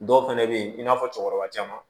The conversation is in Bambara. Dɔw fɛnɛ be yen i n'a fɔ cɛkɔrɔba can ma